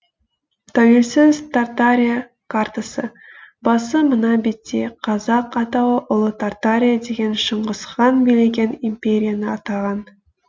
тәуелсіз тартария картасы басы мына бетте қазақ атауы ұлы тартария деген шыңғыс хан билеген империяны атаған